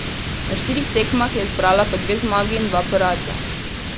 Na štirih tekmah je zbrala po dve zmagi in dva poraza.